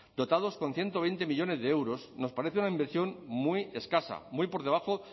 dotados con ciento veinte millónes de euros nos parece una inversión muy escasa muy por debajo